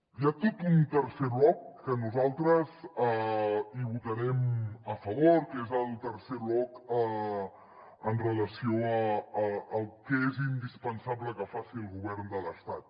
hi ha tot un tercer bloc que nosaltres hi votarem a favor que és el tercer bloc amb relació al que és indispensable que faci el govern de l’estat